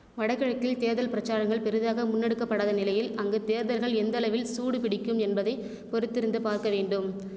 வடகிழக்கில் தேர்தல் பிரச்சாரங்கள் பெரிதாக முன்னெடுக்கப்படாத நிலையில் அங்கு தேர்தல்கள் எந்தளவில் சூடு பிடிக்கும் என்பதை பொறுத்திருந்து பார்க்கவேண்டும்